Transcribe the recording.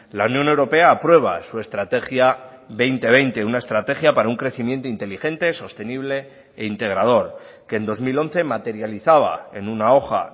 la unión europea aprueba su estrategia dos mil veinte una estrategia para un crecimiento inteligente sostenible e integrador que en dos mil once materializaba en una hoja